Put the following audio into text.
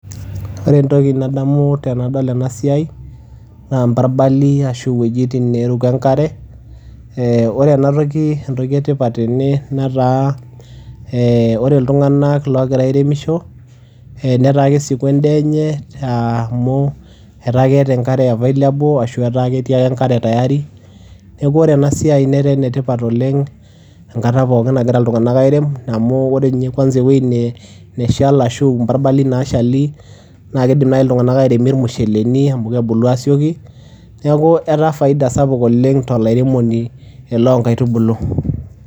Ore entoki nadamu tenadol ena siai naa emparbali ashu iwojitin neeruko enkare. Ee ore ena toki entoki e tipat tene netaa ee ore iltung'anak oogira airemisho netaa kesieku endaa enye aa amu etaa keeta enkare available ashu ketii enkare tayari. Neeku ore ena siai netaa ene tipat oleng' enkata pookin nagira iltung'anak airem amu ore nye kwanza ewuei ne neshal ashu imprabali naashali naake iidim nai iltung'anak aatuunie irmusheleni amu kebulu aasioki, neeku etaa faida sapuk oleng' to lairemoni loo nkaitubulu.